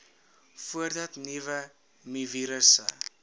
voordat nuwe mivirusse